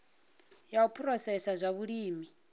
ya u phurosesa zwa vhulimi